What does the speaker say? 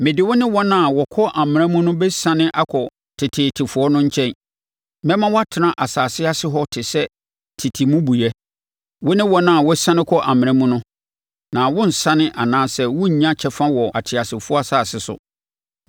mede wo ne wɔn a wɔkɔ amena mu no bɛsiane akɔ teteetefoɔ no nkyɛn. Mɛma woatena asase ase hɔ te sɛ tete mmubuiɛ, wo ne wɔn a wɔsiane kɔ amena mu no, na worensane anaa worennya kyɛfa wɔ ateasefoɔ asase so.